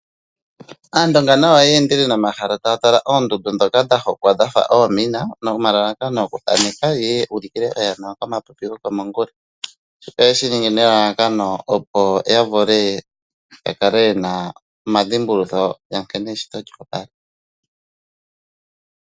Aandonga nayo oye endele nomahala taya tala oondundu ndhoka dha hokwa dhafa oomina nomalalakano okuthaneka yeye yu ulukile oyana komapipi gokomongula. Shika oye shiningi nelalakano opo ya vule ya kale yena omadhimbulutho ga nkene eshito lyo opala.